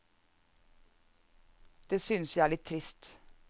Det synes jeg er litt trist.